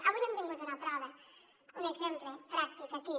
avui n’hem tingut una prova un exemple pràctic aquí